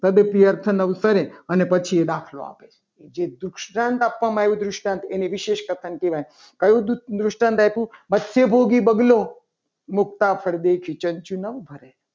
તો અર્થ મળે. અને પછી એ દાખલો આપે છે. જે દુષ્ટાંત આપવામાં આવ્યું છે. એ દુષ્ટાંત એની વિશેષ કથન કહેવાય કયું દુષ્ટાંત આપ્યું. અને ભોગી બગલો ચંચું નામ ભરે.